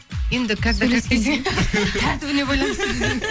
енді тәртібіне байланысты десең